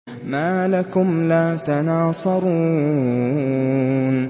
مَا لَكُمْ لَا تَنَاصَرُونَ